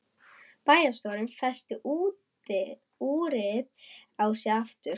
Bæjarstjórinn festi úrið á sig aftur.